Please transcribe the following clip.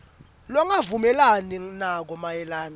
longavumelani nako mayelana